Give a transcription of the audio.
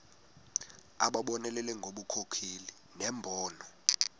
abonelele ngobunkokheli nembono